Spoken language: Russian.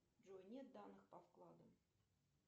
джой нет данных по вкладам